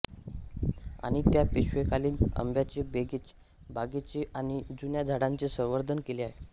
आणि त्या पेशवेकालीन आंब्याच्या बागेचे आणि जुन्या झाडांचे संवर्धन केले आहे